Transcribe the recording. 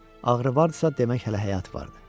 Ağrı vardisa, demək hələ həyat vardı.